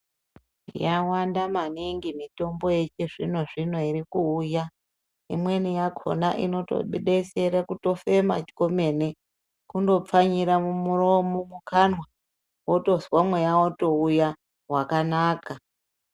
Yawanda maningi mitimbo yechizvino zvino irikuuya. Imweni yakhona inobetsere kutofema kwemene, kundopfanyira mumuroma mumukanwa wotozwa mweya wotouya wakanaka.